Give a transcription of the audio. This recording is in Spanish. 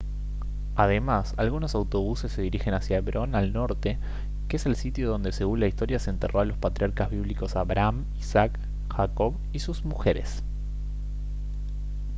además algunos autobuses se dirigen hacia hebrón al norte que es el sitio donde según la historia se enterró a los patriarcas bíblicos abraham isaac jacob y sus mujeres